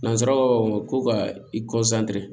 Nanzaraw ka ko ka i